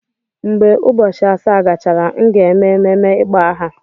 Mgbe ụbọchị asaa gachara, m ga-eme ememme ịkpọ aha.